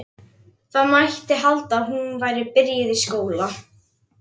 Það mætti halda að hún væri byrjuð í skóla.